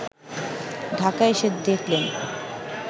ঢাকা এসে দেখলেন